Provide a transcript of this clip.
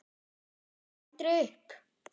En hann gafst aldrei upp.